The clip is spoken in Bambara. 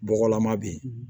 Bɔgɔlama bɛ yen